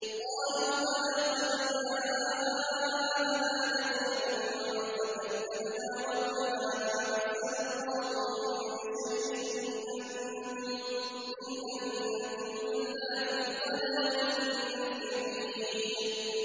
قَالُوا بَلَىٰ قَدْ جَاءَنَا نَذِيرٌ فَكَذَّبْنَا وَقُلْنَا مَا نَزَّلَ اللَّهُ مِن شَيْءٍ إِنْ أَنتُمْ إِلَّا فِي ضَلَالٍ كَبِيرٍ